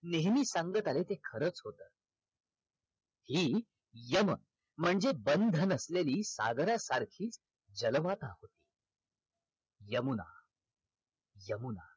नेहमी सांगत आले ते खरच होत हि यम म्हणजे बंध नसलेली सागरासारखी जल मत यमुना, यमुना